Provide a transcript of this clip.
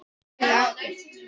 Heyrir ekkert.